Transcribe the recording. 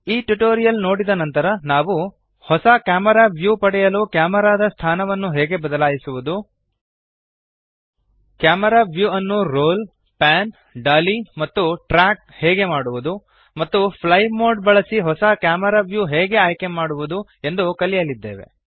ಈ ಟ್ಯುಟೋರಿಯಲ್ ನೋಡಿದ ನಂತರ ನಾವು ಹೊಸ ಕ್ಯಾಮೆರಾ ವ್ಯೂ ಪಡೆಯಲು ಕ್ಯಾಮರಾದ ಸ್ಥಾನವನ್ನು ಹೇಗೆ ಬದಲಾಯಿಸುವುದು ಕ್ಯಾಮೆರಾ ವ್ಯೂ ಅನ್ನು ರೋಲ್ ಪ್ಯಾನ್ ಡಾಲಿ ಮತ್ತು ಟ್ರ್ಯಾಕ್ ಹೇಗೆ ಮಾಡುವದು ಮತ್ತು ಫ್ಲೈ ಮೋಡ್ ಬಳಸಿ ಹೊಸ ಕ್ಯಾಮೆರಾ ವ್ಯೂ ಹೇಗೆ ಆಯ್ಕೆಮಾಡುವದು ಎಂದು ಕಲಿಯಲಿದ್ದೇವೆ